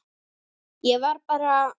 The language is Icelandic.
Ég var bara.